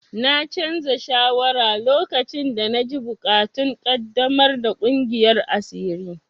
Na canza shawara lokacin da na ji buƙatun ƙaddamar da ƙungiyar asiri.